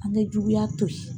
An bɛ juguya to yen